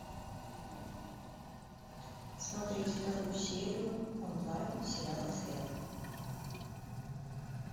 смотреть вторую серию онлайн сериала след